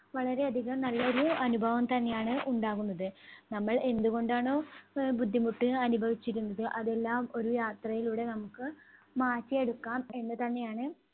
വളരെയധികം നല്ല ഒരു അനുഭവം തന്നെയാണ് ഉണ്ടാകുന്നത്. നമ്മൾ എന്തുകൊണ്ടാണോ ആഹ് ബുദ്ധിമുട്ട് അനുഭവിച്ചിരുന്നത് അതെല്ലാം ഒരു യാത്രയിലൂടെ നമുക്ക് മാറ്റിയെടുക്കാം എന്ന് തന്നെയാണ്